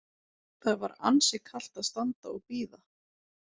Það var ansi kalt að standa og bíða.